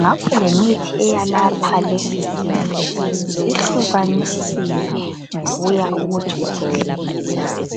ngakho lemithi eyalapha lesisifo ihlukanisiwe ngokuya ukuthi ukhwehlela njani.